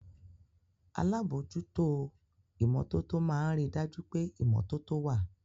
Alábòójútó ìmọ́tótó máa ń rí dájú pé ìmọ́tótó wà